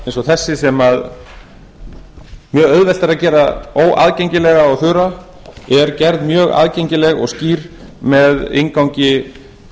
eins og þessi sem mjög auðvelt er að gera óaðgengilega og þurra er gerð mjög aðgengileg og skýr með inngangi